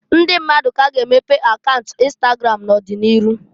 Ndi mmadu k'a ga-emepe akaunt ịnstagram n'ọdị n'iru.